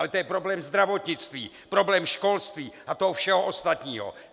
Ale to je problém zdravotnictví, problém školství a toho všeho ostatního.